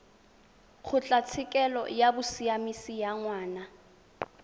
kgotlatshekelo ya bosiamisi ya ngwana